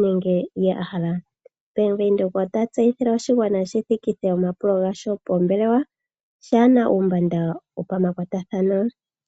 nenge kehe ndyoka a hala. Bank Windhoek ota tseyithile oshigwana shi thikithe pombelewa pwaa he na uumbanda wopamakwatathano.